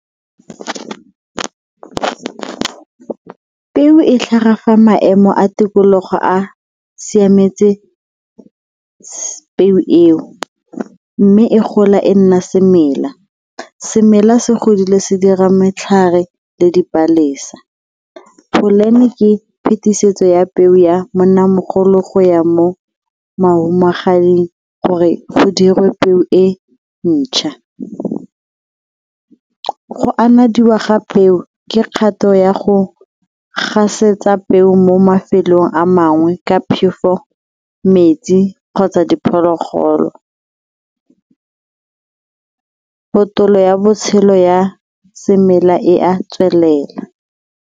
Peo e tlhaga fa maemo a tikologo a siametse peo mme e gola e nna semela. Semela se godile se dira matlhare le dipalesa. ke phetisetso ya peo ya monnamogolo go ya mo gore go dirwe peo e ntšha. Go anadiwa ga peo ke kgato ya go gasetsa peo mo mafelong a mangwe ka phefo, metsi kgotsa diphologolo, ya botshelo ya semela e a tswelela.